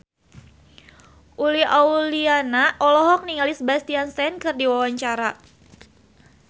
Uli Auliani olohok ningali Sebastian Stan keur diwawancara